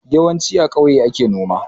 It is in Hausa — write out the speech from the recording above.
Yawanci a kauye ake noma